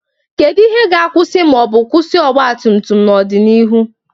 Kedu ihe ga-akwụsị ma ọ bụ kwụsị ọgba tum tum n'ọdịnihu?